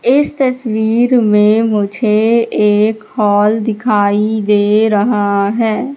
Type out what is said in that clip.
इस तस्वीर में मुझे एक हॉल दिखाई दे रहा है।